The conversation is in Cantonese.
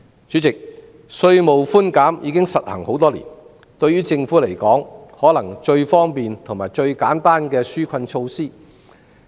主席，稅務寬免已實行多年，可能是對於政府而言最方便和最簡單的紓困措施。